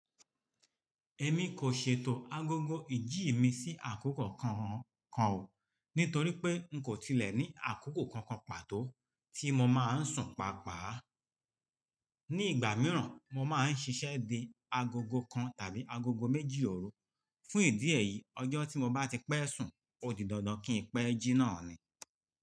Ẹ̀mí kò ṣètò agogo ìjí mi sí àkókò kankan o, nítorí pé n kò tilẹ̀ ní àkókò kankan pàtó tí mo máa ń sùn pàápàá. Ní ìgbà mìíràn mo máa ń ṣiṣẹ́ di agogo kan tàbí agogo méjì ọ̀rú. Fún ìdí èyí ọjọ́ tí mo bá ti pẹ́ sùn, ó di dandan kí n pe ẹ jí náà ni.